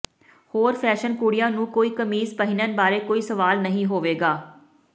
ਹੋਰ ਫੈਸ਼ਨ ਕੁੜੀਆਂ ਨੂੰ ਕੋਈ ਕਮੀਜ਼ ਪਹਿਨਣ ਬਾਰੇ ਕੋਈ ਸਵਾਲ ਨਹੀਂ ਹੋਵੇਗਾ